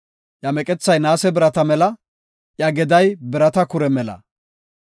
Iya meqethay naase birata mela; iya geday birata kure mela.